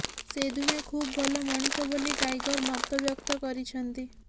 ସେ ଦୁହେଁ ଖୁବ୍ ଭଲ ମଣିଷ ବୋଲି ଟାଇଗର୍ ମତବ୍ୟକ୍ତ କରିଛନ୍ତି